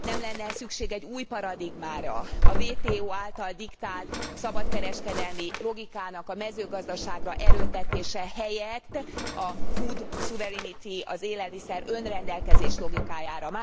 Nem lenne e szükség egy új paradigmára, a WTO által diktált szabadkereskedelmi logikának a mezőgazdaságra erőltetése helyett a food sovereignty, az élelmiszer önrendelkezés logikájára?